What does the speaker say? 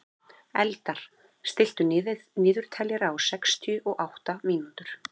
Eldar, stilltu niðurteljara á sextíu og átta mínútur.